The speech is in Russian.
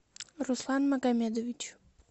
руслан магомедович